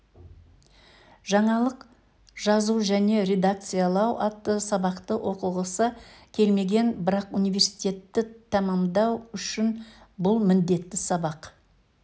жаңалық жазу және редакциялау атты сабақты оқығысы келмеген бірақ университетті тәмамдау үшін бұл міндетті сабақ